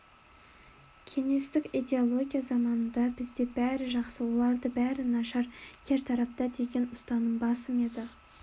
кеңестік идеология заманында бізде бәрі жақсы оларды бәрі нашар кертартпа деген ұстаным басым еді